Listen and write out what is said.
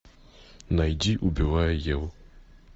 найди убивая еву